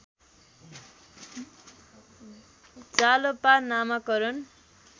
जालपा नामाकरण